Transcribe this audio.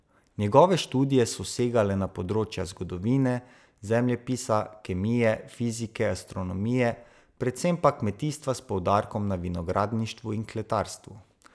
Njegove študije so segale na področja zgodovine, zemljepisa, kemije, fizike, astronomije, predvsem pa kmetijstva s poudarkom na vinogradništvu in kletarstvu.